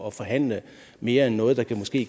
at forhandle mere end noget der måske